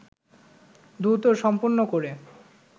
দ্রুত সম্পন্ন করে